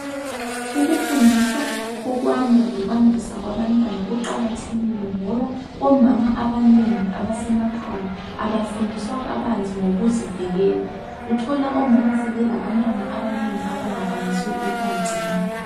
Ukufundiswa ko kwanda lokwandiswa kwabantwana kuqakathekile ngoba omama abanengi abasemakhaya abafundiswa kabanzi ngokuzivikela, uthola omama sebelabantwana abanengi abangakwanisiyo ukuba gcina.